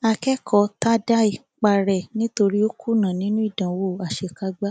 akẹkọọ tadae para ẹ nítorí ó kùnà nínú ìdánwò àṣekágbá